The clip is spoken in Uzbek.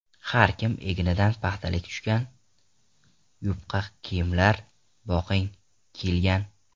Har kim egnidan paxtalik tushgan, Yupqa kiyimlar, boqing, kiyilgan.